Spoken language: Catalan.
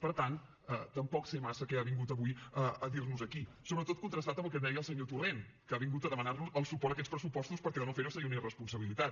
per tant tampoc sé massa què ha vingut avui a dir nos aquí sobretot contrastat amb el que deia el senyor torrent que ha vingut a demanar nos el suport a aquests pressupostos perquè de no ferho seria una irresponsabilitat